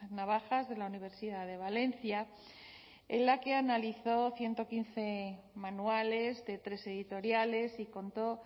navajas de la universidad de valencia en la que analizó ciento quince manuales de tres editoriales y contó